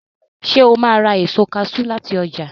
Sọ ma ra èso kaṣú láti ọjà?